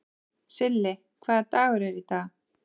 Silli, hvaða dagur er í dag?